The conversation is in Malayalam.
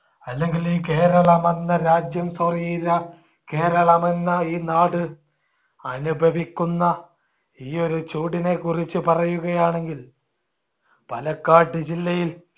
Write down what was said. അല്ലെങ്കിൽ ഈ കേരളമെന്ന എന്ന രാജ്യം sorry കേരളം എന്ന ഈ നാട് അനുഭവിക്കുന്ന ഈ ഒരു ചൂടിനെ കുറിച്ച് പറയുകയാണെങ്കിൽ പാലക്കാട് ജില്ലയിൽ